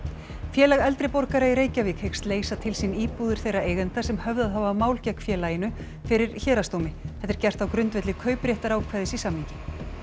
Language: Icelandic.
félag eldri borgara í Reykjavík hyggst leysa til sín íbúðir þeirra eigenda sem höfðað hafa mál gegn félaginu fyrir héraðsdómi þetta er gert á grundvelli kaupréttarákvæðis í samningi